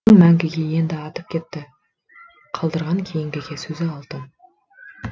мәңгіге енді аты кетті қалдырған кейінгіге сөзі алтын